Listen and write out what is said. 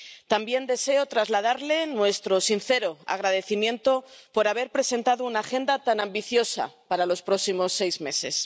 También deseo trasladarle nuestro sincero agradecimiento por haber presentado una agenda tan ambiciosa para los próximos seis meses.